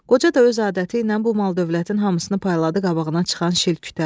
Qoca da öz adəti ilə bu mal-dövlətin hamısını payladı qabağına çıxan şilkütə.